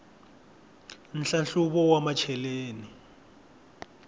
nhlahluvo wa macheleni